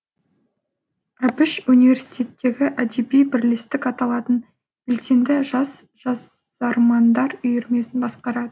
әбіш университеттегі әдеби бірлестік аталатын белсенді жас жазармандар үйірмесін басқарады